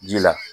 Ji la